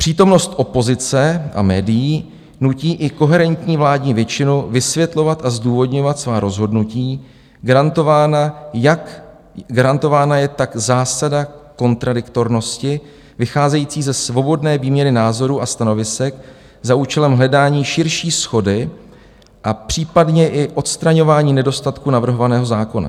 Přítomnost opozice a médií nutí i koherentní vládní většinu vysvětlovat a zdůvodňovat svá rozhodnutí - garantována je tak zásada kontradiktornosti, vycházející ze svobodné výměny názorů a stanovisek za účelem hledání širší shody a případně i odstraňování nedostatků navrhovaného zákona.